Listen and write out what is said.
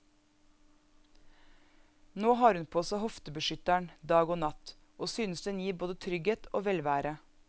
Nå har hun på seg hoftebeskytteren dag og natt, og synes den gir både trygghet og velvære.